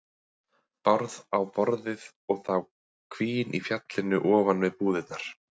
Bárð á borðið og það hvín í fjallinu ofan við búðirnar.